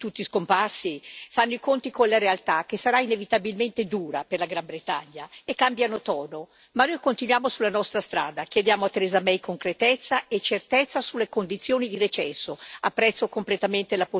Gli alfieri della Brexit, qui tutti scomparsi, fanno i conti con la realtà che sarà inevitabilmente dura per la Gran Bretagna e cambiano tono ma noi continuiamo sulla nostra strada chiediamo a Theresa May concretezza e certezza sulle condizioni di recesso.